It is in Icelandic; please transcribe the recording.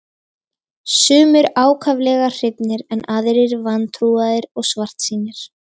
Sumir ákaflega hrifnir en aðrir vantrúaðir og svartsýnir.